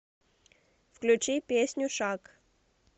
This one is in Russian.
включи песню шаг